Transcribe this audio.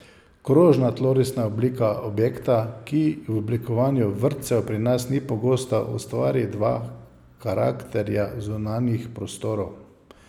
Krožna tlorisna oblika objekta, ki v oblikovanju vrtcev pri nas ni pogosta, ustvari dva karakterja zunanjih prostorov.